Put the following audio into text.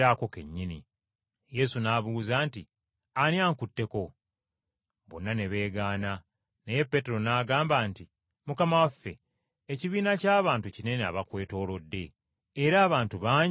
Yesu n’abuuza nti, “Ani ankutteko?” Bonna ne beegaana, naye Peetero n’agamba nti, “Mukama waffe, ekibiina ky’abantu kinene abakwetoolodde era abantu bangi bakunyigiriza.”